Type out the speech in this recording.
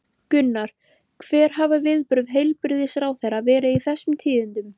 Gunnar, hver hafa viðbrögð heilbrigðisráðherra verið við þessum tíðindum?